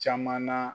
Caman na